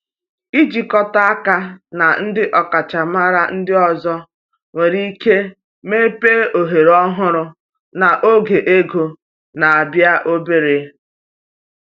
Ịjikọta aka na ndị ọkachamara ndị ọzọ nwere ike mepee ohere ọhụrụ n’oge ego na-abịa obere.